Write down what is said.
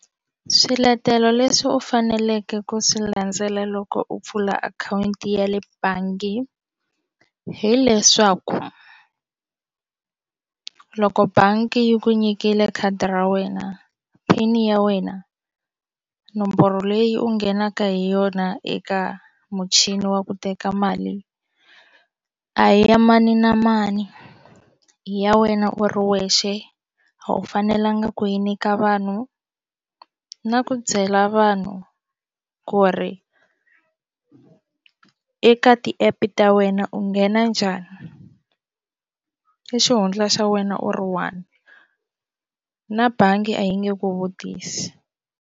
Swiletelo leswi u faneleke ku swi landzela loko u pfula akhawunti ya le bangi hileswaku loko bangi yi ku nyikile khadi ra wena pin ya wena nomboro leyi u nghenaka hi yona eka muchini wa ku teka mali a hi ya mani na mani i ya wena u ri wexe a wu fanelanga ku yi nyika vanhu na ku byela vanhu ku ri eka ti-app ta wena u nghena njhani i xihundla xa wena u ri one na bangi a yi nge ku vutisi.